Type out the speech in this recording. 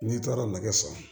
N'i taara nɛgɛso